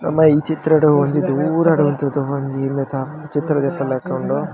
ನಮ ಈ ಚಿತ್ರಡ್ ಒಂಜಿ ದೂರಡ್ ಉಂತುದ್ ಒಂಜಿ ಉಂದೆತ ಚಿತ್ರ ದೆತ್ತಿ ಲಕ್ಕ ಉಂಡು .